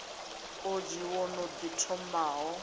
odzhi wo no ḓi thomaho